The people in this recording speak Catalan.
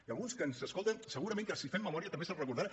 i alguns que ens escolten segurament que si fem memòria també se’n recordaran